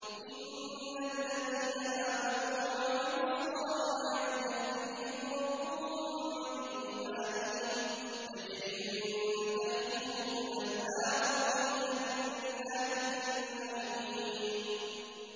إِنَّ الَّذِينَ آمَنُوا وَعَمِلُوا الصَّالِحَاتِ يَهْدِيهِمْ رَبُّهُم بِإِيمَانِهِمْ ۖ تَجْرِي مِن تَحْتِهِمُ الْأَنْهَارُ فِي جَنَّاتِ النَّعِيمِ